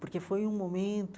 Porque foi um momento